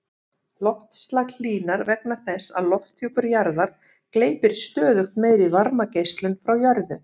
Loftslag hlýnar vegna þess að lofthjúpur jarðar gleypir stöðugt meiri varmageislun frá jörðu.